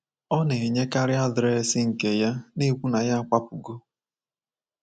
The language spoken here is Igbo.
Ọ na-enyekarị adreesị nke ya, na-ekwu na ya akwapụwo.